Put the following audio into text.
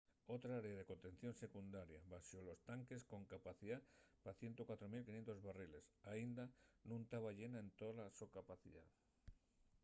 otra área de contención secundaria baxo los tanques con capacidá pa 104.500 barriles aínda nun taba llena en tola so capacidá